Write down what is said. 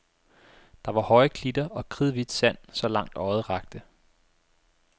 Der var høje klitter og kridhvidt sand, så langt øjet rakte.